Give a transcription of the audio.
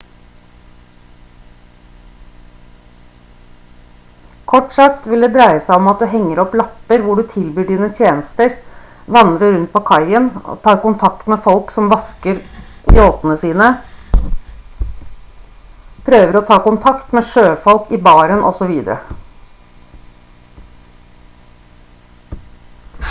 kort sagt vil det dreie seg om at du henger opp lapper hvor du tilbyr dine tjenester vandrer rundt på kaien tar kontakt med folk som vasker yachtene sine prøver å ta kontakt med sjøfolk i baren osv